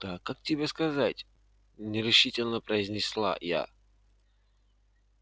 да как тебе сказать нерешительно произнесла я